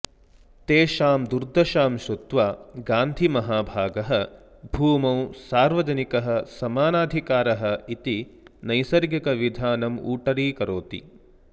तेषां दुर्दशां श्रुत्वा गान्धिमहाभागः भूमौ सार्वजनिकः समानाधिकारः इति नैसर्गिकविधानमूटरीकरोति